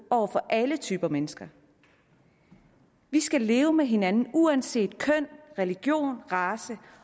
over for alle typer mennesker vi skal leve med hinanden uanset køn religion race